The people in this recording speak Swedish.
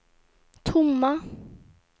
tomma